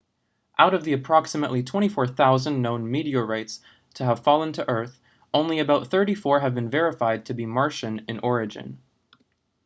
out of the approximately 24,000 known meteorites to have fallen to earth only about 34 have been verified to be martian in origin